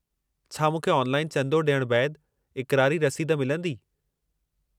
छा मूंखे ऑनलाइन चंदो डि॒यण बैदि इक़रारी रसीद मिलंदी?